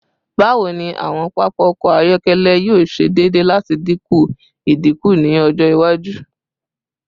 Bawo ni awọn papa ọkọ ayọkẹlẹ yoo ṣe deede lati dinku idinku ni ọjọ iwaju?